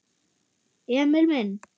Emil minn!